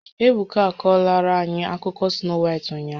Ebuka a kọrọla anyị akụkọ Snoo Waịt ụnyahụ